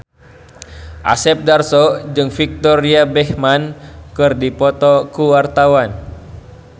Asep Darso jeung Victoria Beckham keur dipoto ku wartawan